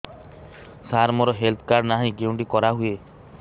ସାର ମୋର health card ନାହିଁ କେଉଁଠି କରା ହୁଏ